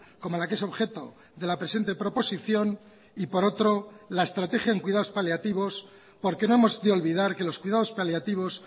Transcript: como la que es objeto de la presente proposición y por otro la estrategia en cuidados paliativos porque no hemos de olvidar que los cuidados paliativos